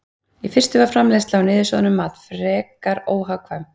Í fyrstu var framleiðsla á niðursoðnum mat frekar óhagkvæm.